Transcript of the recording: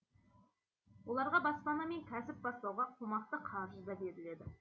оларға баспана мен кәсіп бастауға қомақты қаржы да беріледі